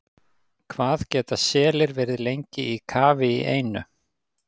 Hvað geta selir verið lengi í kafi í einu?